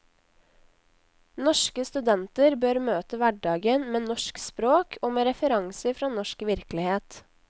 Norske studenter bør møte hverdagen med norsk språk og med referanser fra norsk virkelighet.